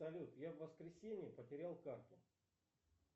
салют я в воскресенье потерял карту